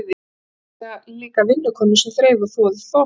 Þau höfðu meira að segja líka vinnukonu sem þreif og þvoði þvotta.